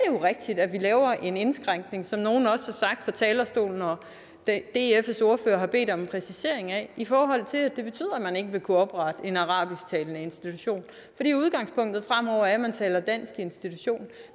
jo rigtigt at vi laver en indskrænkning som nogle også har sagt fra talerstolen og dfs ordfører har bedt om en præcisering af i forhold til at det betyder at man ikke vil kunne oprette en arabisk talende institution fordi udgangspunktet fremover er at man taler dansk i danske institutioner